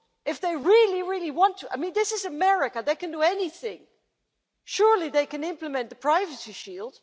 If they really want to and this is America, they can do anything surely they can implement the Privacy Shield?